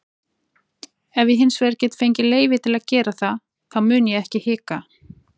Ef ég hinsvegar get fengið leyfi til að gera það þá mun ég ekki hika.